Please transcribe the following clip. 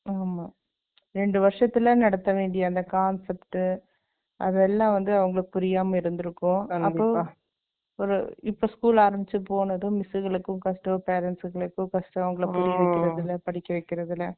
ஆமா. ரெண்டு வருஷத்துல, நடத்த வேண்டிய, அந்த concept , அதெல்லாம் வந்து, அவங்களுக்கு புரியாம இருந்திருக்கும். அப்போ, இப்ப school ஆரம்பிச்சு போனதும், miss களுக்கும் கஷ்டம், parents ங்களுக்கும் கஷ்டம், அவங்களை படிக்க வைக்கிறது இல்லை, படிக்க வைக்கிறதுல